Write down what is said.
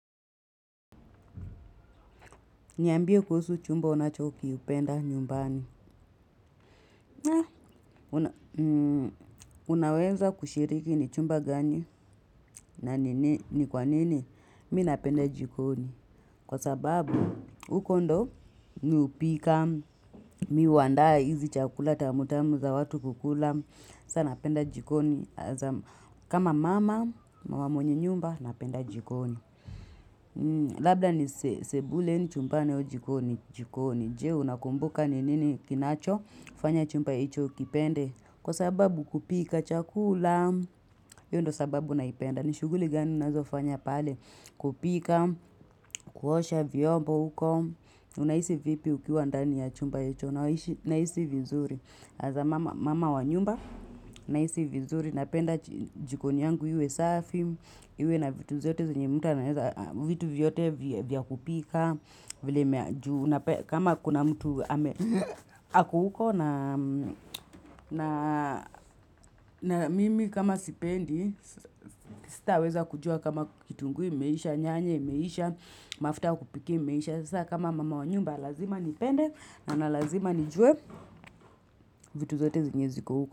Niambie kuhusu chumba unachokiupenda nyumbani. Unaweza kushiriki ni chumba gani na nini ni kwa nini mi napenda jikoni. Kwa sababu huko ndo mi hupika mi huandaa hizi chakula tamu tamu za watu kukula. Saa napenda jikoni. Kama mama mama mwenye nyumba napenda jikoni. Labda ni sebulen chumba au jikoni. Jikoni. Je, unakumbuka ni nini kinachofanya chumba hicho ukipende. Kwa sababu kupika, chakula, hio ndo sababu naipenda. Nishughuli gani ninazofanya pale. Kupika, kuosha, vyombo huko. Unahisi vipi ukiwa ndani ya chumba hicho. Nahisi vizuri. Mama, mama wa nyumba. Nahisi vizuri. Napenda jikoni yangu iwe safi. Iwe na vitu zote zenye mtu anaweza vitu vyote vya kupika. Vile mea juu. Kama kuna mtu ako huko na mimi kama sipendi sitaweza kujua kama kitunguu immeisha, nyanya immeisha, mafuta ya kupikia immeisha. Sasa kama mama wa nyumba lazima nipende na na lazima nijue vitu zote zenye ziko huko.